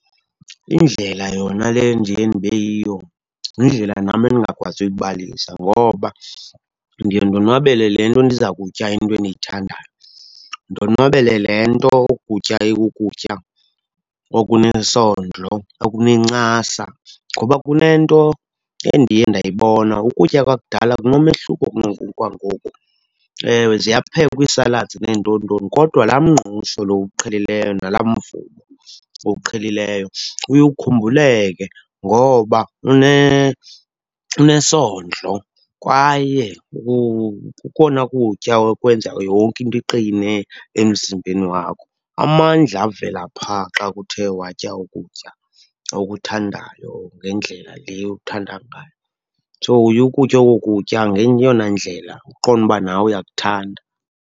Indlela yona le endiye ndibe yiyo yindlela nam endingakwazi uyibalisa, ngoba ndiye ndonwabele le nto ndiza kutya into endiyithandayo. Ndonwabele le nto oku kutya ikukutya okunesondlo, okunencasa. Ngoba kunento endiye ndayibona, ukutya kwakudala kunomehluko kunoku kwangoku. Ewe ziyaphekwa ii-salads nentonintoni, kodwa laa mngqusho lo uwuqhelileyo nalaa mvubo uwuqhelileyo uye ukhumbuleke ngoba unesondlo kwaye kukona kutya okwenza yonke into iqine emzimbeni wakho. Amandla avela pha xa kuthe watya ukutya okuthandayo ngendlela le okuthanda ngayo. So uye ukutye okokutya ngeyona ndlela uqonde uba nawe uyakuthanda.